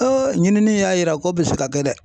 ɲinini y'a yira k'o bɛ se ka kɛ dɛ.